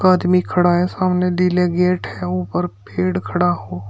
आदमी खड़ा है सामने नीले गेट है ऊपर फेड़ खड़ा हो--